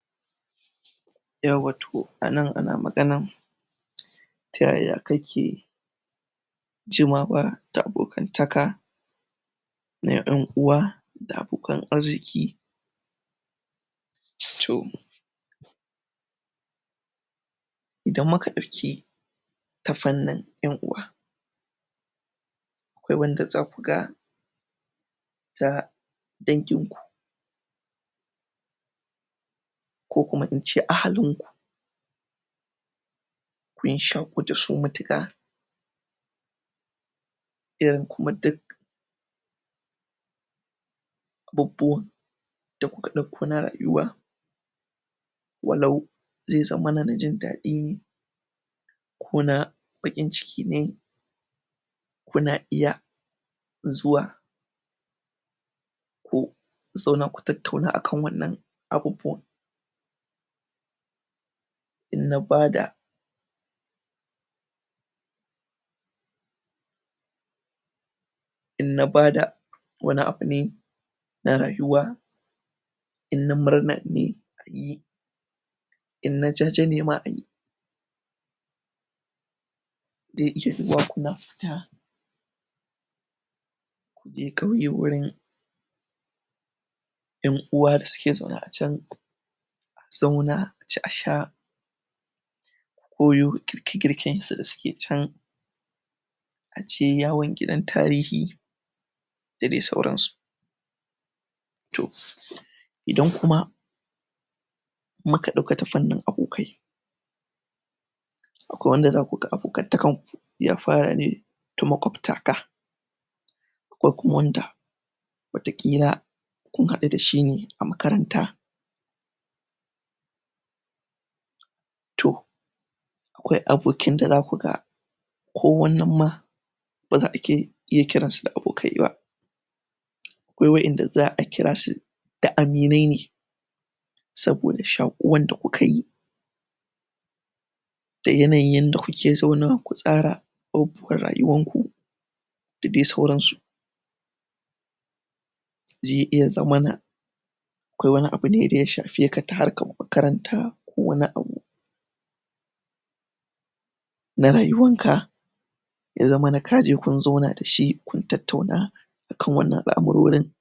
yauwa to anan ana maganan um ta yaya kake ci ma fa da abokantaka na yan uwa da abokan arziki to idan muka ɗauki ta fannin yan uwa akwai wanda zaku ga ta danginku ko kuma ince ahalinku kun shaƙu dasu matuƙa irin kuma duk abubuwan da kuka ɗauko na rayuwa walau zai zamana na jin daɗi ne kona baƙin ciki ne kuna iya zuwa ku zauna ku tattauna akan wannan abubuwan in na bada pause in na bada wani abu ne na rayuwa in na murna ne ayi in na jaje ne ma ayi ze iya yiwuwa kuna fita kuje ƙauye wurin ƴan uwa da suke zaune a can a zauna a ci a sha ku koyo girke-girken su da suke can aje yawon gidan tarihi da dai sauransu to idan kuma muka ɗauka ta fannin abokai akwai wanda zakaga abokantakanku ya fara ne da makwaftaka akwai kuma wanda wataƙila kun haɗu dashi ne a makaranta pause to akwai abokin da zaku ga ko wannan ma baza a ke iya kiransu da abokai ba akwai wa inda za'a kirasu da aminai ne saboda shaƙuwan da kukayi da yanayin yanda kuke zaunawa ku tsara abubuwan rayuwarku da dai sauransu ze iya zamana akwai wani abune da ya shafeka ta harkar makaranta ko wani abu na rayuwanka ya zamana kaje kun zauna dashi kun tattauna akan wannan al'amurorin